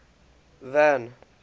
van